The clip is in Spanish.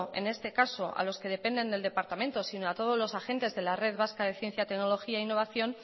en este caso a los que dependen del departamento sino a todos los agentes de la red vasca de ciencia tecnología e innovación